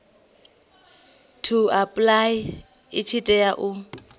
to apply tshi tea u